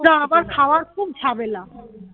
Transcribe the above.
খাওয়ার খুব ঝামেলা